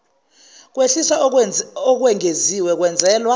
kwehliswa okwengeziwe kwenzelwa